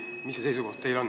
Milline on teie seisukoht?